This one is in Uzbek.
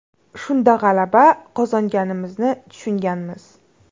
Shunda g‘alaba qozonganimizni tushunganmiz.